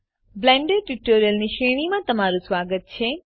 Blender tutorials ની શ્રેણીમાં તમારું સ્વાગત છે